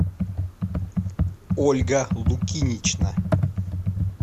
ольга лукинична